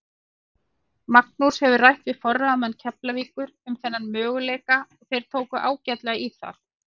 Magnús hefur rætt við forráðamenn Keflavíkur um þennan möguleika og þeir tóku ágætlega í það.